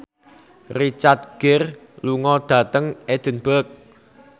Richard Gere lunga dhateng Edinburgh